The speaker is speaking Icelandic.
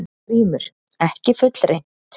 GRÍMUR: Ekki fullreynt.